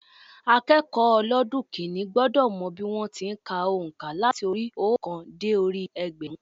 Akékòó ọlọ́dún kínní gbọ́dọ̀ mọ bí wọ́n ti n ka ònká láti orí i óòkan dé orí i ẹgbẹ̀rún